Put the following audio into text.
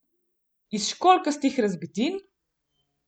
Iz školjkastih razbitin?